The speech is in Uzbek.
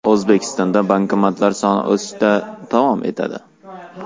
O‘zbekistonda bankomatlar soni o‘sishda davom etadi.